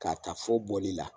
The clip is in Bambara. K'a ta fɔ bɔli la